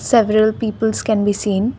several peoples can be seen.